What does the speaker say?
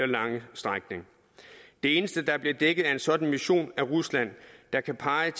lange strækning det eneste der bliver dækket af en sådan mission er rusland der kan pege